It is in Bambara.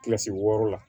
Kilasi wɔɔrɔ la